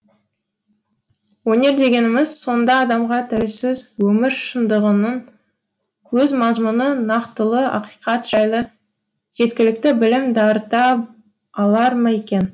өнер дегеніміз сонда адамға тәуелсіз өмір шындығының өз мазмұны нақтылы ақиқат жайлы жеткілікті білім дарыта алар ма екен